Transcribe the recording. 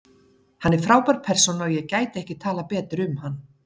Hann er frábær persóna og ég gæti ekki talað betur um hann.